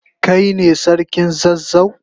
Kai ne sarkin zazzau?